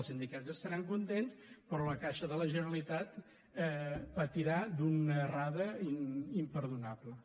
els sindicats estaran contents però la caixa de la generalitat patirà d’una errada imperdonable